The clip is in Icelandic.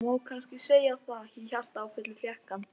Það má kannski segja það, því hjartaáfallið fékk hann.